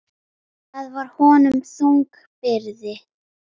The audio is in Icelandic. Það var honum þung byrði.